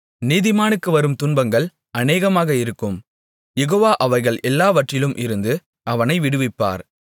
நீதிமானுக்கு வரும் துன்பங்கள் அநேகமாக இருக்கும் யெகோவா அவைகள் எல்லாவற்றிலும் இருந்து அவனை விடுவிப்பார்